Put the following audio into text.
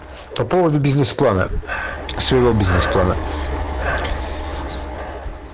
по поводу бизнес плана своего бизнес-плана